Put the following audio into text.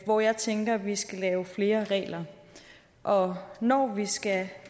hvor jeg tænker at vi skal lave flere regler og når vi skal